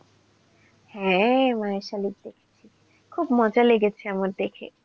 হ্যাঁ মায়াশালিক দেখেছি. খুব মজা লেগেছে আমার দেখে.